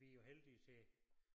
Vi jo heldige til